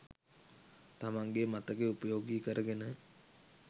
තමන්ගේ මතකය උපයෝගී කරගෙන.